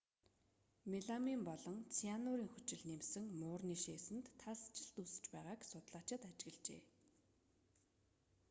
меламин болон цианурын хүчил нэмсэн муурны шээсэнд талстжилт үүсэж байгааг судлаачид ажиглажээ